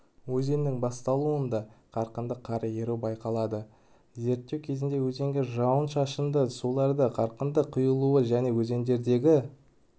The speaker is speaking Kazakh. өзенінің бастауында қарқынды қар еру байқалады зерттеу кезінде өзенге жауын-шашынды сулардың қарқынды құйылуы және өзендердегі